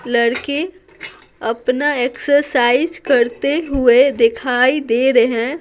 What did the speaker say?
लड़के अपना एक्सरसाइज करते हुए दिखाई दे रहे हैं।